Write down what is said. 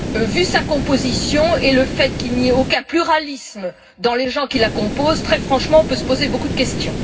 Vu sa composition et le fait qu'il n'y ait aucun pluralisme dans les gens qui la composent, très franchement, on peut se poser beaucoup de questions.